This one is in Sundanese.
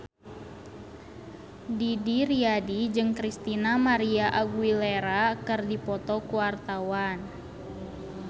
Didi Riyadi jeung Christina María Aguilera keur dipoto ku wartawan